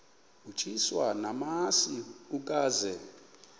utyiswa namasi ukaze